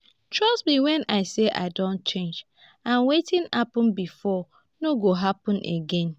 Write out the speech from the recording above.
trust me wen i say i don change and wetin happen before no go happen again